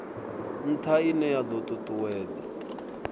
ntha ine ya do tutuwedza